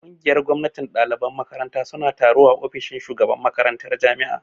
Ƙungiyar gwamnatin ɗaliban makaranta suna da taro a ofishin shugaban makarantar jami'a